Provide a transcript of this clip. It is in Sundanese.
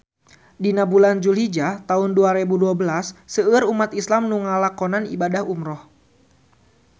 Dina bulan Dulhijah taun dua rebu dua belas seueur umat islam nu ngalakonan ibadah umrah